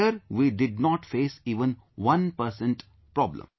There we did not face even one percent problem